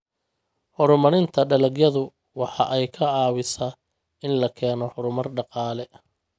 Horumarinta dalagyadu waxa ay ka caawisaa in la keeno horumar dhaqaale.